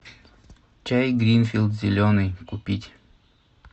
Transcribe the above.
чай гринфилд зеленый купить